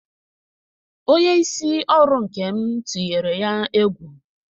Onye isi ọrụ Nkem tunyere ya egwu.